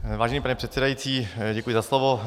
Vážený pane předsedající, děkuji za slovo.